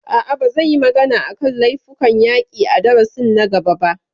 A'a, ba zan yi magana a kan laifukan yaƙi a darasin na gaba ba